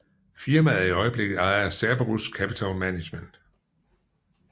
Firmaet er i øjeblikket ejet af Cerberus Capital Management